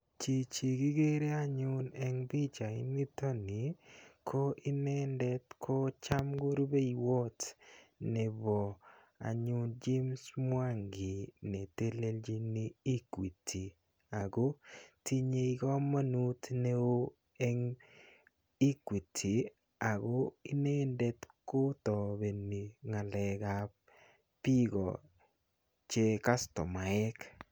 Chichi kikere anyun eng pichainitoni ko inendet ko cham ko rupeiwat nebo anyun James mwangi netelelchini Equity. Ako tinyei komonut neo eng Equity ako inendet kotabeni ng'alekap biko che customaek.